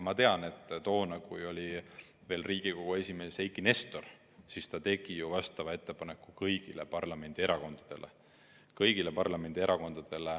Ma tean, et toona, kui Riigikogu esimees oli veel Eiki Nestor, tegi ta vastava ettepaneku kõigile parlamendierakondadele.